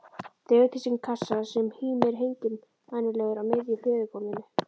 Dregur til sín kassa sem hímir hengilmænulegur á miðju hlöðugólfinu.